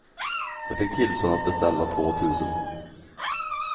Jag fick tillstånd att beställa två tusen.